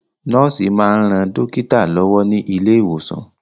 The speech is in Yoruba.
Nọ́ọ̀sì máa ń ran dókítà lọ́wọ́ ní ilé ìwòsàn.